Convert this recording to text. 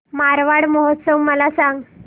मारवाड महोत्सव मला सांग